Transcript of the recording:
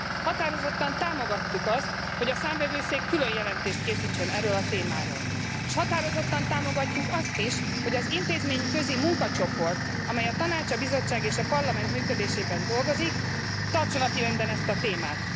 Határozottan támogattuk azt, hogy a Számvevőszék különjelentést készítsen erről a témáról, s határozottan támogatjuk azt is, hogy az intézményközi munkacsoport, amely a Tanács, a Bizottság és a Parlament működésében dolgozik, tartsa napirenden ezt a témát.